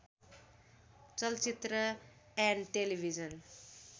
चलचित्र and television